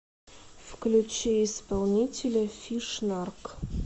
включи исполнителя фиш нарк